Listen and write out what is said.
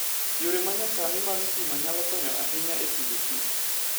Yore manysani mar stima nyalo konyo ahinya e pidhoKich.